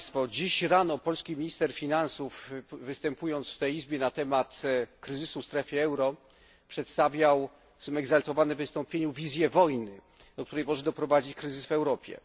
Dziś rano polski minister finansów, występując w tej Izbie w sprawie kryzysu w strefie euro, przedstawił w swoim egzaltowanym wystąpieniu wizję wojny, do której może doprowadzić kryzys w Europie.